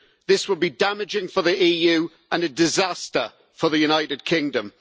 This will be damaging for the EU and a disaster for the United Kingdom.